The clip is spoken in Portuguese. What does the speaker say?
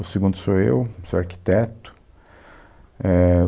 O segundo sou eu, sou arquiteto, éh